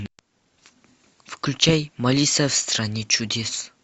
включай малиса в стране чудес